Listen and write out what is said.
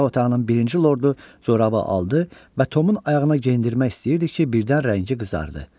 Yataq otağının birinci lordu corabı aldı və Tomun ayağına geyindirmək istəyirdi ki, birdən rəngi qızardı.